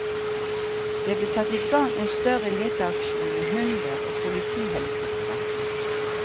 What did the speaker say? Det ble satt i gang en større leteaksjon med hunder og politihelikoptre.